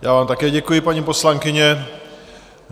Já vám také děkuji, paní poslankyně.